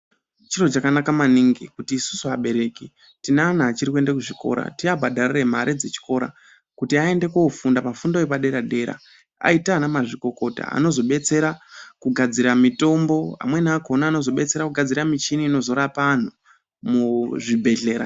chiro chakanaka maningi, kuti isusu abereki, tine ana achiri kuende kuzvikora tiabhadharire mare dzechikora ,kuti aende kofunda pafundo yepadera-dera, aite anamazvikokota anozobetsera kugadzira mitombo, amweni akhona anozobetsera kugadzira michini, inozorapa anhu muzvibhedhlera.